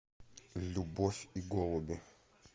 любовь и голуби